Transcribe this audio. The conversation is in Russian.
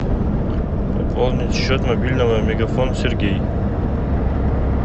пополнить счет мобильного мегафон сергей